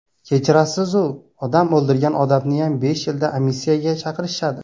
Kechirasiz-u, odam o‘ldirgan odamniyam besh yilda amnistiyaga chiqarishadi.